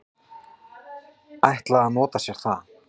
ætla að nota sér það.